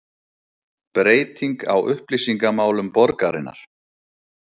Breyting á upplýsingamálum borgarinnar